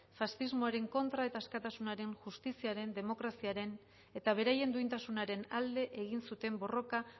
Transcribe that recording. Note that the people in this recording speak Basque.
faxismoaren kontra eta askatasunaren justiziaren demokraziaren eta beraien duintasunaren alde egin zuten borroka